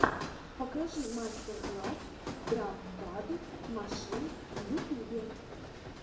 покажи мастер класс драм пад машин в ютубе